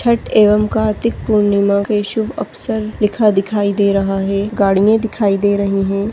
छठ एवं कार्तिक पूर्णिमा के शुभ अवसर लिखा दिखाई दे रहा है गाड़िया दिखाई दे रहे हैं।